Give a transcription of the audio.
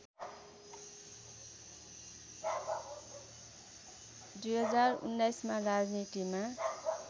२०१९ मा राजनीतिमा